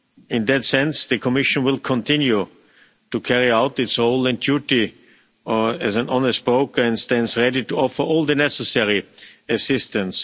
In that sense, the Commission will continue to carry out its role and duty as an honest broker, and stands ready to offer all the necessary assistance.